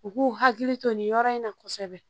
U k'u hakili to nin yɔrɔ in na kosɛbɛ